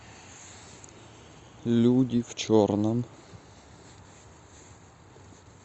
люди в черном